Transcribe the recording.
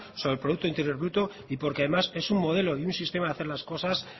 sobre el producto interior bruto y porque además es un modelo en un sistema de hacer las cosas